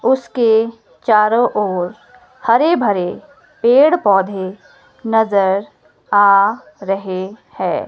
उसके चारों ओर हरे भरे पेड़ पौधे नजर आ रहे हैं।